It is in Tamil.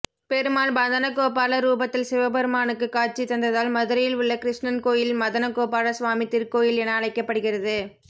பெருமாள் மதனகோபால ரூபத்தில் சிவபெருமானுக்கு காட்சி தந்ததால் மதுரையில் உள்ள கிருஷ்ணன் கோயில் மதனகோபால சுவாமி திருக்கோயில் என அழைக்கப்படுகிறது